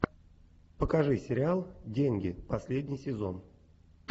покажи сериал деньги последний сезон